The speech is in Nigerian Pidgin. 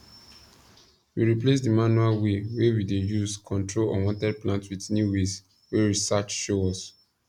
we replace the manual way wey we dey use control unwanted plant with new ways wey research show us